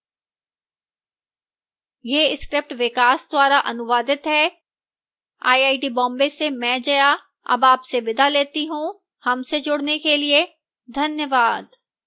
यह script विकास द्वारा अनुवादित है मैं जया अब आपसे विदा लेती हूँ